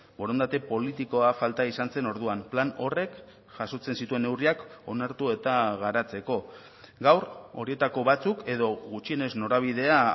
borondate politikoa falta izan zen orduan plan horrek jasotzen zituen neurriak onartu eta garatzeko gaur horietako batzuk edo gutxienez norabidea